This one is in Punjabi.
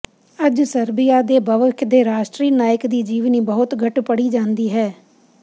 ਅੱਜ ਸਰਬਿਆ ਦੇ ਭਵਿੱਖ ਦੇ ਰਾਸ਼ਟਰੀ ਨਾਇਕ ਦੀ ਜੀਵਨੀ ਬਹੁਤ ਘੱਟ ਪੜ੍ਹੀ ਜਾਂਦੀ ਹੈ